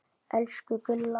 Elsku Gulla.